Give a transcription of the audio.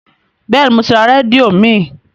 Bẹ́ẹ̀ni, mo ti ra rédíò mìí.